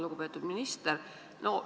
Lugupeetud minister!